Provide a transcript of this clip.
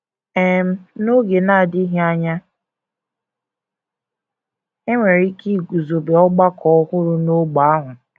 um N’oge na - adịghị anya, e nwere ike iguzobe ọgbakọ ọhụrụ n’ógbè ahụ.